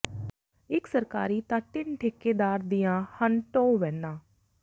ਇਕ ਸਰਕਾਰੀ ਤਾਂ ਤਿੰਨ ਠੇਕੇਦਾਰ ਦੀਆਂ ਹਨ ਟੋਅ ਵੈਨਾਂ